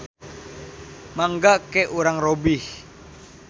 Mangga ke urang robih.